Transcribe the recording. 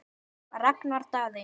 Ragnar Daði.